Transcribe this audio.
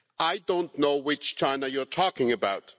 I do not know which China you are talking about.